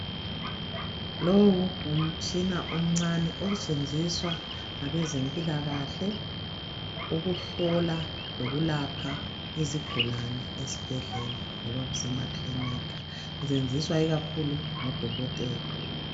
Lowu ngumtshina omncane osetshenziswa ngabezempilakahle ukuhlola lokulapha izigulane esibhedlela loba kusemakilinika. Zisetshenziswa ikakhulu ngudokotela.